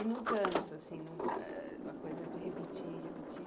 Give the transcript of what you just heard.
E nunca cansa, assim não eh, a coisa de repetir, repetir.